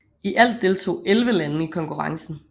I alt deltog 11 lande i konkurrencen